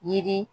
Yiri